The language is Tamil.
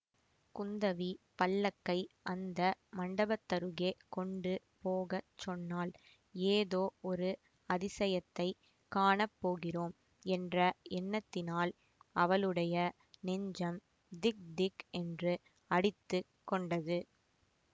குந்தவி பல்லக்கை அந்த மண்டபத்தருகே கொண்டு போக சொன்னாள் ஏதோ ஒரு அதிசயத்தை காணப் போகிறோம் என்ற எண்ணத்தினால் அவளுடைய நெஞ்சம் திக்திக் என்று அடித்து கொண்டது